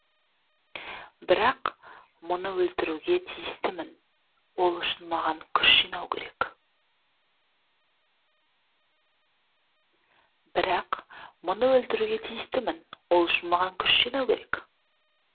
бірақ мұны өлтіруге тиістімін ол үшін маған күш жинау керек